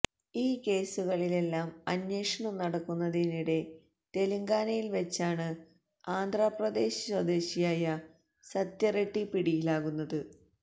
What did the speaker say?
ഈ കേസുകളിലെല്ലാം അന്വേഷണം നടക്കുന്നതിനിടെ തെലങ്കാനയില് വച്ചാണ് ആന്ധ്രാ പ്രദേശ് സ്വദേശിയായ സത്യ റെഡ്ഢി പിടിയിലാകുന്നത്